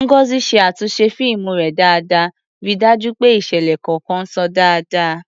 Ngozi ṣe àtúnṣe fíìmù rẹ̀ dáadáa, ríi dájú pé ìṣẹ̀lẹ̀ kọ̀ọ̀kan ṣàn dáadáa.